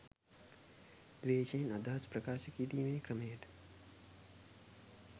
ද්වේෂයෙන් අදහස් ප්‍රකාශ කිරීමේ ක්‍රමයට